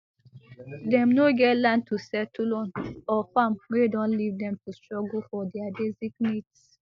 dem no get land to settle on or farm wey don leave dem to struggle for dia basic needs